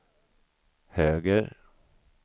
höger